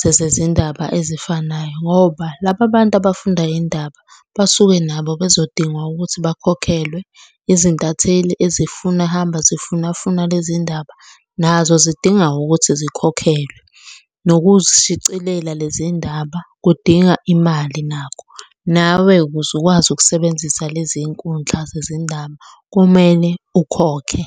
zezezindaba ezifanayo, ngoba laba bantu abafunda iy'ndaba, basuke nabo bezodingwa ukuthi bakhokhelwe. Izintatheli ezifuna hamba zifuna funa lezi ndaba, nazo zidinga ukuthi zikhokhelwe. Nokuzishicilela lezi ndaba, kudinga imali nakho. Nawe ukuze ukwazi ukusebenzisa lezi nkundla zezindaba, kumele ukhokhe.